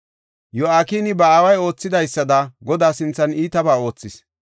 Yo7akini ba aaway oothidaysada, Godaa sinthan iitabaa oothis.